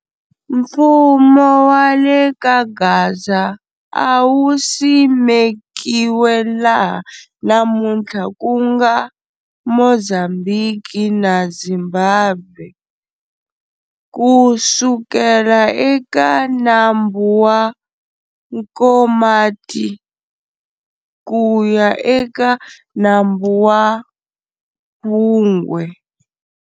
Mfumo wa le kaGaza a wu simekiwe laha namunthla ku nga Mozambhiki na Zimbabwe, kusukela eka nambu wa Nkomathi kuya eka Nambu wa phungwe.